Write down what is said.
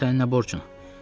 Sənin nə borcun?